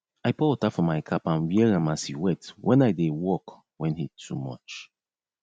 i pour water for my cap and wear am as e wet wen i dey work wen heat too much